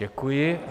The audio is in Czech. Děkuji.